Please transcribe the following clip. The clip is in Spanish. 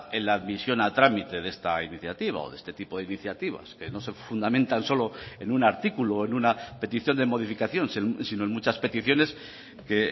en la admisión a trámite de esta iniciativa o de este tipo de iniciativas que no se fundamentan solo en un artículo o en una petición de modificación sino en muchas peticiones que